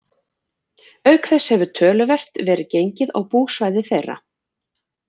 Auk þess hefur töluvert verið gengið á búsvæði þeirra.